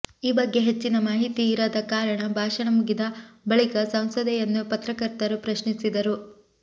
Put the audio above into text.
ಈ ಬಗ್ಗೆ ಹೆಚ್ಚಿನ ಮಾಹಿತಿ ಇರದ ಕಾರಣ ಭಾಷಣ ಮುಗಿದ ಬಳಿಕ ಸಂಸದೆಯನ್ನು ಪತ್ರಕರ್ತರು ಪ್ರಶ್ನಿಸಿದರು